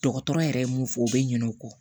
Dɔgɔtɔrɔ yɛrɛ mun fɔ o bɛ ɲinɛ o kɔ